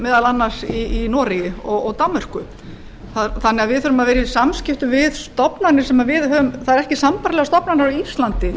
meðal annars í noregi og danmörku þannig að við þurfum að vera í samstarfi við stofnanir sem það eru ekki sambærilegar stofnanir á íslandi til af